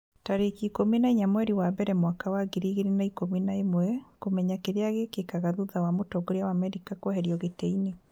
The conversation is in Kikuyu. tarĩki ikũmi na inya mweri wa mbere mwaka wa ngiri igĩrĩ na ikũmi na ĩmweKũmenya kĩrĩa gĩkĩkaga thutha wa mũtongoria wa Amerika kũeherio gĩtĩ-inĩ